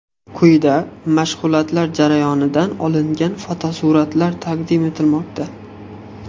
Quyida mashg‘ulotlar jarayonidan olingan fotosuratlar taqdim etilmoqda.